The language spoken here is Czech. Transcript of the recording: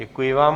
Děkuji vám.